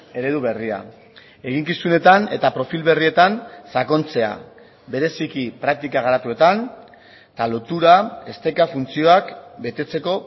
eredu berria eginkizunetan eta profil berrietan sakontzea bereziki praktika garatuetan eta lotura esteka funtzioak betetzeko